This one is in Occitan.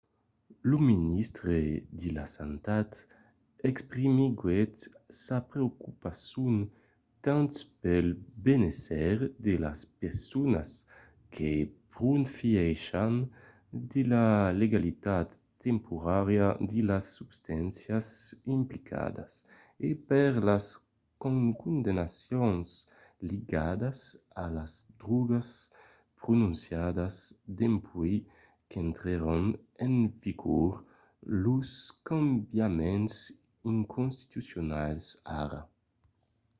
lo ministre de la santat exprimiguèt sa preocupacion tant pel benésser de las personas que profièchan de la legalitat temporària de las substàncias implicadas e per las condemnacions ligadas a las drògas prononciadas dempuèi qu'intrèron en vigor los cambiaments inconstitucionals ara